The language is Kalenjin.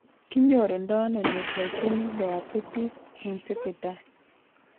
Kinyorundoono nephrogenic diabetes insipidus